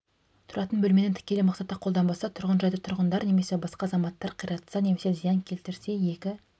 тұратын бөлмені тікелей мақсатта қолданбаса тұрғын жайды тұрғындар немесе басқа азаматтар қиратса немесе зиян келтірсе екі